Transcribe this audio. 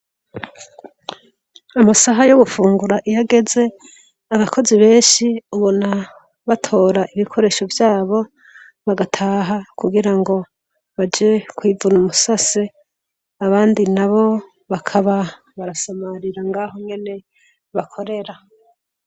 Amasaha yo gufungura iyageze abakozi benshi ubona batora ibikoresho vyabo bagataha kugira ngo baje kwivuna umusase abandi na bo bakaba barasamarira ngaho mwene bakorera.